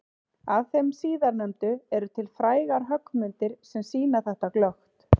Af þeim síðarnefndu eru til frægar höggmyndir sem sýna þetta glöggt.